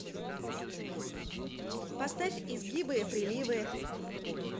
поставь изгибы приливы